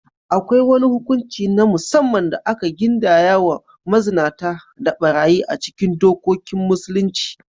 Akwai wani hukunci na musamman da aka gindaya wa mazinata da ɓarayi a cikin dokokin Musulunci.